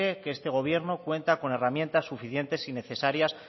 que este gobierno cuenta con herramientas suficientes y necesarias